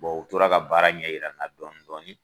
Bɔn u tora ka baara ɲɛ yira n na dɔɔnin dɔɔnin